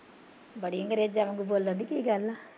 ਬੜੀ ਅੰਗਰੇਜਾਂ ਵਾਂਗੂ ਬੋਲਣਡੀ ਕੀ ਗੱਲ